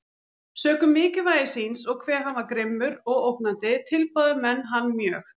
Sökum mikilvægi síns, og hve hann var grimmur og ógnandi, tilbáðu menn hann mjög.